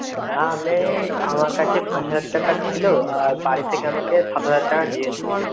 হ্যাঁ আমি, আমার কাছে পাঁচ হাজার টাকা ছিলো আর বাড়ি থেকে আমাকে সাত হাজার টাকা দিয়েছে.